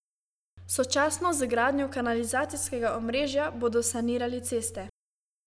Sočasno z gradnjo kanalizacijskega omrežja bodo sanirali ceste.